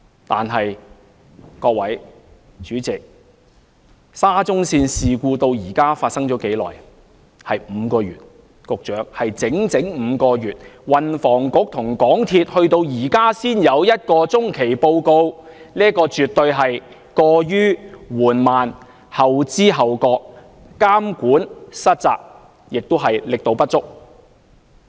但是，各位、主席，沙中線事故發生至今已經5個月，局長，是整整5個月，運輸及房屋局和香港鐵路有限公司至今才有一份中期報告，這絕對是過於緩慢、後知後覺、監管失責，亦是力度不足。